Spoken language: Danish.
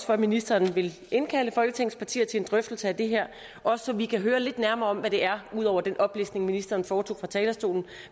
for at ministeren vil indkalde folketingets partier til en drøftelse af det her også så vi kan høre lidt nærmere om hvad det er ud over den oplistning ministeren foretog fra talerstolen